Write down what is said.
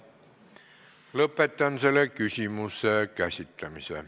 Lõpetan selle küsimuse käsitlemise.